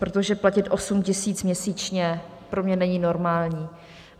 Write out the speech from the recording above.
Protože platit 8 tisíc měsíčně pro mě není normální.